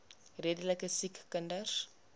redelike siek kinders